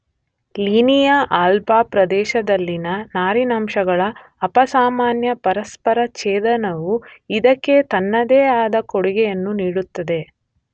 Linea alba ಪ್ರದೇಶದಲ್ಲಿನ ನಾರಿನಂಶಗಳ ಅಪಸಾಮಾನ್ಯ ಪರಸ್ಪರ ಛೇದನವು ಇದಕ್ಕೆ ತನ್ನದೇ ಆದ ಕೊಡುಗೆಯನ್ನು ನೀಡುತ್ತದೆ.